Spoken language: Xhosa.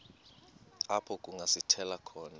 apho kungasithela khona